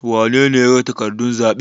wanene ya yaga takardun zaɓen?